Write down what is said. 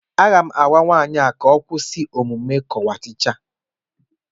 Aga m agwa nwaanyị a ka ọ kwụsị omume kokwịtishi a